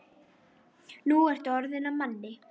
Nú ertu orðinn að manni.